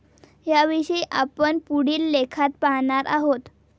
याविषयी आपण पुढील लेखात पाहणार आहोत.